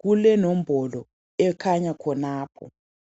kulenombolo ekhanya khonapho